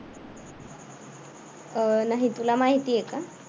अह नाही तुला माहितीये का?